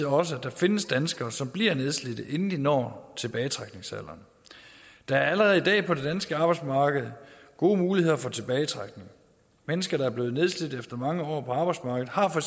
også at der findes danskere som bliver nedslidte inden de når tilbagetrækningsalderen der er allerede i dag på det danske arbejdsmarked gode muligheder for tilbagetrækning mennesker der er blevet nedslidt efter mange år på arbejdsmarkedet har for